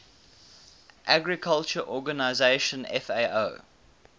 agriculture organization fao